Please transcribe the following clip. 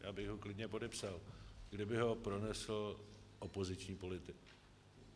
Já bych ho klidně podepsal, kdyby ho pronesl opoziční politik.